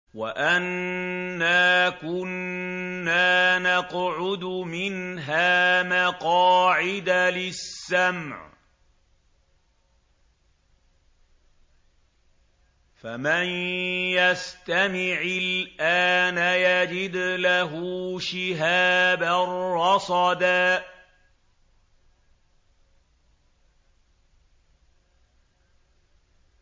وَأَنَّا كُنَّا نَقْعُدُ مِنْهَا مَقَاعِدَ لِلسَّمْعِ ۖ فَمَن يَسْتَمِعِ الْآنَ يَجِدْ لَهُ شِهَابًا رَّصَدًا